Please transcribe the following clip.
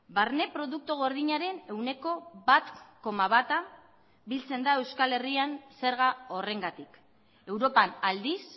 barne produktu gordinaren ehuneko bat koma bata biltzen da euskal herrian zerga horrengatik europan aldiz